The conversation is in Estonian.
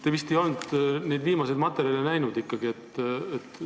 Te vist ei ole neid viimaseid materjale ikkagi näinud.